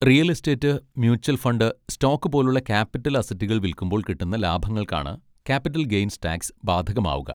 Real estate, mutual fund, stock പോലുള്ള capital അസറ്റുകൾ വിൽക്കുമ്പോൾ കിട്ടുന്ന ലാഭങ്ങൾക്കാണ് ക്യാപിറ്റൽ ഗെയ്ൻസ് ടാക്സ് ബാധകമാവുക.